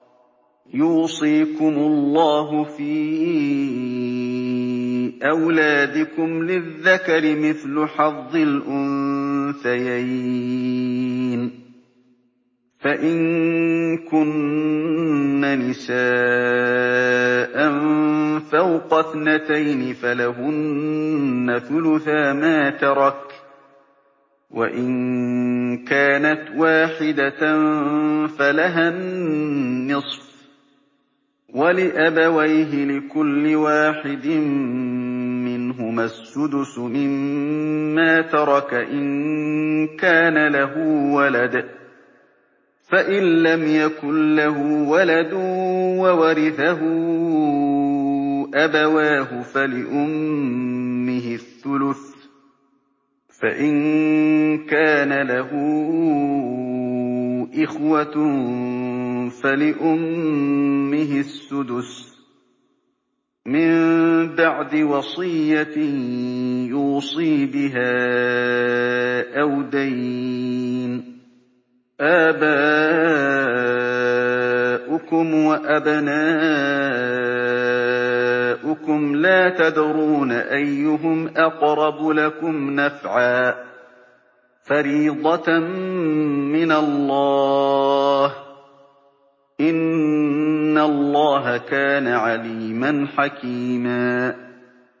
يُوصِيكُمُ اللَّهُ فِي أَوْلَادِكُمْ ۖ لِلذَّكَرِ مِثْلُ حَظِّ الْأُنثَيَيْنِ ۚ فَإِن كُنَّ نِسَاءً فَوْقَ اثْنَتَيْنِ فَلَهُنَّ ثُلُثَا مَا تَرَكَ ۖ وَإِن كَانَتْ وَاحِدَةً فَلَهَا النِّصْفُ ۚ وَلِأَبَوَيْهِ لِكُلِّ وَاحِدٍ مِّنْهُمَا السُّدُسُ مِمَّا تَرَكَ إِن كَانَ لَهُ وَلَدٌ ۚ فَإِن لَّمْ يَكُن لَّهُ وَلَدٌ وَوَرِثَهُ أَبَوَاهُ فَلِأُمِّهِ الثُّلُثُ ۚ فَإِن كَانَ لَهُ إِخْوَةٌ فَلِأُمِّهِ السُّدُسُ ۚ مِن بَعْدِ وَصِيَّةٍ يُوصِي بِهَا أَوْ دَيْنٍ ۗ آبَاؤُكُمْ وَأَبْنَاؤُكُمْ لَا تَدْرُونَ أَيُّهُمْ أَقْرَبُ لَكُمْ نَفْعًا ۚ فَرِيضَةً مِّنَ اللَّهِ ۗ إِنَّ اللَّهَ كَانَ عَلِيمًا حَكِيمًا